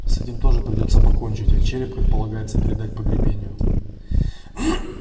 с этим тоже придётся покончить а череп как полагается предать погребению